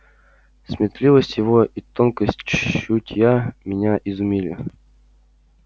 сметливость его и тонкость чутья меня изумили